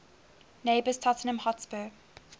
neighbours tottenham hotspur